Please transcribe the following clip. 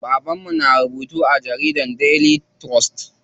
Baban mu na rubutu a jaridar Daily trust.